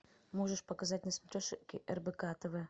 можешь показать на смотрешке рбк тв